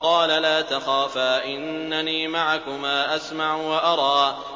قَالَ لَا تَخَافَا ۖ إِنَّنِي مَعَكُمَا أَسْمَعُ وَأَرَىٰ